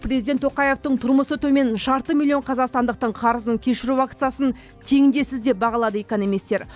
президент тоқаевтың тұрмысы төмен жарты миллион қазақстандықтың қарызын кешіру акциясын теңдессіз деп бағалады экономистер